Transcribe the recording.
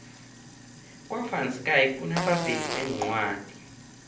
kwa van schaick kunabovezi beencwadi